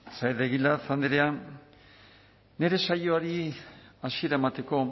saez de egilaz andrea nire saioari hasiera emateko